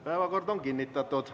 Päevakord on kinnitatud.